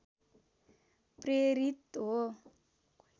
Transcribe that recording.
प्रेरित हो